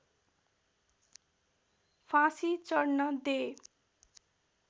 फाँसी चढ्न दे